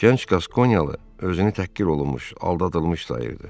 Gənc qaskoniyalı özünü təhqir olunmuş, aldadılmış sayırdı.